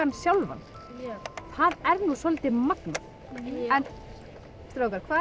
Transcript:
sjálfan það er nú svolítið magnað strákar hvað